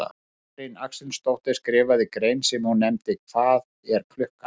Katrín Axelsdóttir skrifaði grein sem hún nefndi Hvað er klukkan?